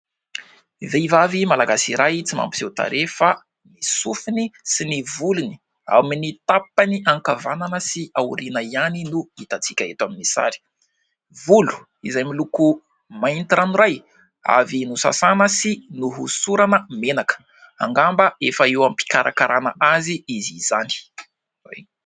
Vehivavy malagasy iray tsy mampiseho tarehy fa ny sofiny sy ny volony ao amin'ny tapany ankavanana sy aoriana ihany no hita tsika eto amin'ny sary. Volo izay miloko mainty ranoray, avy nosasana sy nohosorana menaka, angamba efa eo am-pikarakarana azy izy izany.